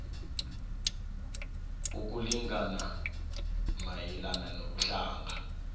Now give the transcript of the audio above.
ukulingana mayelana nobuhlanga